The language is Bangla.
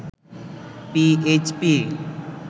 পিএইচপি